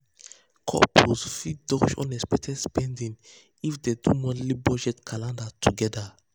couples fit dodge unexpected spending if dem dey do monthly budget calendar together.